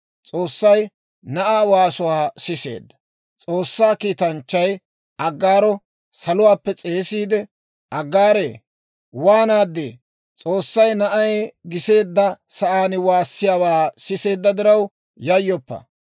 S'oossay na'aa waasuwaa siseedda; S'oossaa kiitanchchay Aggaaro saluwaappe s'eesiide, «Aggaaree, waanaaddii? S'oossay na'ay giseedda sa'aan waassiyaawaa siseedda diraw yayyoppa;